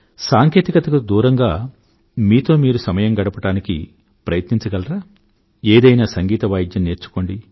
సాంకేతికత కు దూరంగా మీతో మీరు సమయం గడపడానికి ప్రయత్నించగలరా ఏదైనా సంగీత వాయిద్యం నేర్చుకోండి